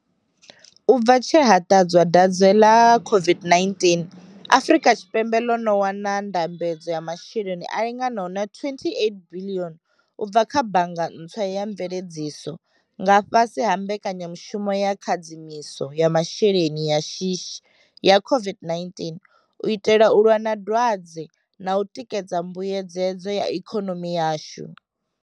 U bva tshe ha ṱadzwa dwadze ḽa COVID-19, Afrika Tshipembe ḽo no wana ndambedzo ya masheleni a linganaho na R28 biḽioni u bva kha bannga ntswa ya mveledziso nga fhasi ha mbekanyamushumo ya khadzimiso ya masheleni ya shishi ya COVID-19 u itela u lwa na dwadze na u tikedza mbuedzedzo ya ikonomi yashu.